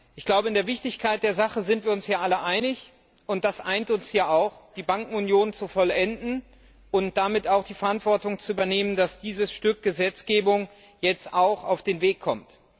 Ich glaube, in der Wichtigkeit der Sache sind wir uns hier alle einig und das eint uns ja auch die Bankenunion zu vollenden und damit auch die Verantwortung zu übernehmen, dass dieses Stück Gesetzgebung jetzt auch auf den Weg kommt.